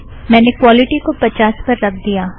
मैंने क्वोलिटि को पचास पर रख दिया